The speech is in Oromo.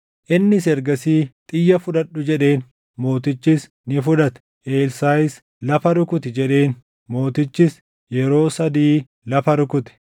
Innis ergasii, “Xiyya fudhadhu” jedheen; mootichis ni fudhate. Elsaaʼis “Lafa rukuti” jedheen; mootichis yeroo sadii lafa rukute.